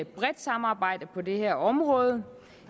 bredt samarbejde på det her område